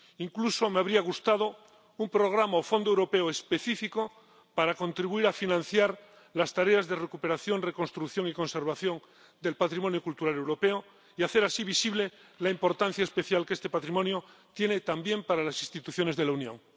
incluso me habría gustado un programa o fondo europeo específico para contribuir a financiar las tareas de recuperación, reconstrucción y conservación del patrimonio cultural europeo y hacer así visible la importancia especial que este patrimonio tiene también para las instituciones de la Unión.